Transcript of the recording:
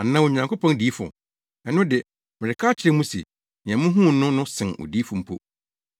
Anaa Onyankopɔn diyifo? Ɛno de, mereka akyerɛ mo se, nea muhuu no no sen odiyifo mpo.